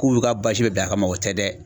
K'u y'u ka bɛɛ bila a kama o tɛ dɛ.